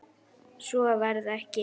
Svo varð ekki.